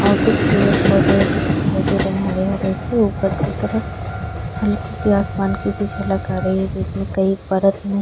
और कुछ पेड़ पौधे भी दिखाई दे रहा हैं हरे हरे से ऊपर की तरफ। हल्की सी आसमान की भी झलक आ रही है जिसमें कई परत हैं।